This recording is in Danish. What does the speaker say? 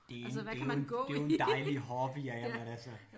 Det er en det er jo en det er jo en dejlig hobby ja ja men altså